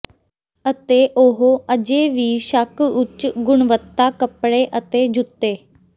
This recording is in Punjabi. ਅਤੇ ਉਹ ਅਜੇ ਵੀ ਸ਼ੱਕ ਉੱਚ ਗੁਣਵੱਤਾ ਕੱਪੜੇ ਅਤੇ ਜੁੱਤੇ